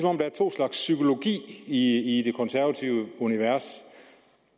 om der er to slags psykologi i de konservatives univers